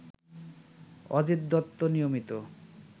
অজিত দত্ত নিয়মিত